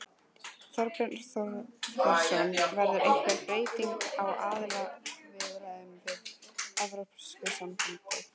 Þorbjörn Þórðarson: Verður einhver breyting á aðildarviðræðunum við Evrópusambandið?